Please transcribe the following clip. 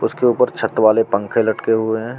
उसके ऊपर छत वाले पंखे लटके हुए हैं।